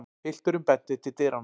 Pilturinn benti til dyranna.